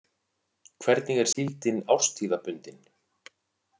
Hvernig er síldin árstíðabundin?